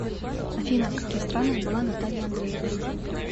афина в каких странах была наталья андреевна